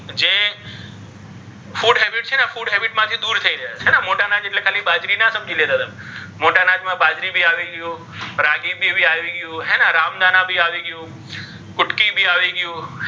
છે ને જે ઘઉં છે ડાંગર છે એના કરતાં વધારે શું હોય છે પૌષ્ટિક હોય છે. તો હવે મોટા અનાજો શું કરી રહ્યા છે? લોકોની,